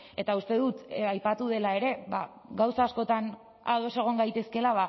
eta uste dut aipatu dela ere gauza askotan ados egon gaitezkeela